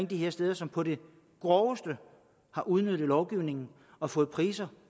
de her steder som på det groveste har udnyttet lovgivningen og fået priser